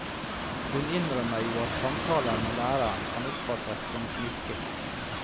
Hun innrømmer jo at samtaler med læreren kan oppfattes som smisking.